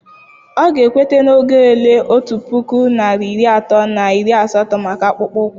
Ọ ga ekweta na oge ole otu puku narị iri atọ na iri asatọ maka akpụkpọ ụkwụ